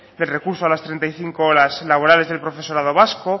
de recurso a las treinta y cinco horas laborales del profesorado vasco